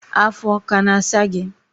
afọ ọ kana asa gi?